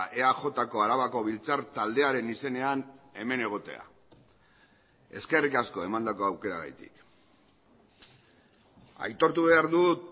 eajko arabako biltzar taldearen izenean hemen egotea eskerrik asko emandako aukeragatik aitortu behar dut